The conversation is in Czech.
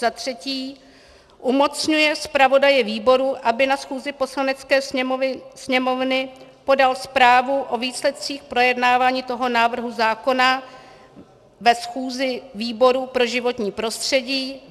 Za třetí zmocňuje zpravodaje výboru, aby na schůzi Poslanecké sněmovny podal zprávu o výsledcích projednávání toho návrhu zákona ve schůzi výboru pro životní prostředí.